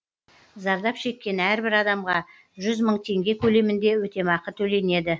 зардап шеккен әрбір адамға жүз мың теңге көлемінде өтемақы төленеді